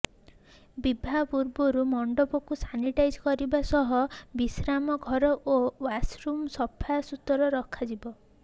ବିବାହ ପୂର୍ବରୁ ମଣ୍ଡପକୁ ସାନିଟାଇଜ କରିବା ସହ ବିଶ୍ରାମଘର ଓ ଓ୍ବାସ ରୁମ୍କୁ ସଫା ସୁତରା ରଖାଯିବ